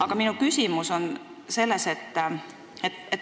Aga minu küsimus on selline.